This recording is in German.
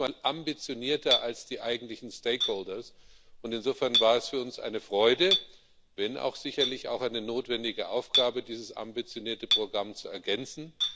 Er war manchmal ambitionierter als die eigentlichen stakeholders und insofern war es für uns eine Freude wenn auch sicherlich eine notwendige Aufgabe dieses ambitionierte Programm zu ergänzen.